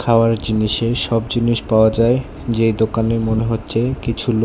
খাওয়ার জিনিসের সব জিনিস পাওয়া যায় যেই দোকানে মনে হচ্ছে কিছু লো--